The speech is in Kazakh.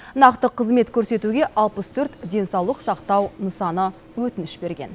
нақты қызмет көрсетуге алпыс төрт денсаулық сақтау нысаны өтініш берген